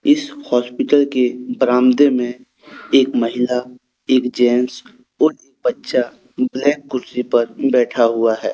इस हॉस्पिटल के बरामदे में एक महिला एक जेंट्स और एक बच्चा एक ब्लैक कुर्सी पर बैठा हुआ है।